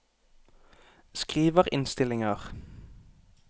skriverinnstillinger